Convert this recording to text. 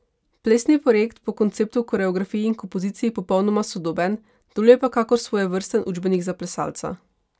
Plesni projekt po konceptu, koreografiji in kompoziciji popolnoma sodoben, deluje pa kakor svojevrsten učbenik za plesalca.